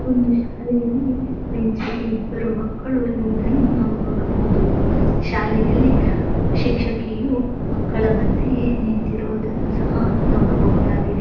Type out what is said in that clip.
ಒಂದು ಶಾಲೆಯಲ್ಲಿ ಬೆಂಚ್ ಇಬ್ಬರು ಮಕ್ಕಳು ಇರುವುದನ್ನು ನಾವು ನೋಡಬಹುದು ಶಾಲೆಯಲ್ಲಿ ಶಿಕ್ಷಕಿಯು ಮಕ್ಕಳ ಮಧ್ಯೆಯೇ ನಿಂತಿರುವುದನ್ನು ಸಹ ನೋಡಬಹುದಾಗಿದೆ.